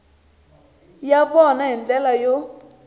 ya vona hi ndlela yo